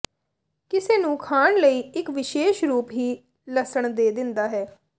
ਕਿਸੇ ਨੂੰ ਖਾਣ ਲਈ ਇੱਕ ਵਿਸ਼ੇਸ਼ ਰੂਪ ਹੀ ਲਸਣ ਦੇ ਦਿੰਦਾ ਹੈ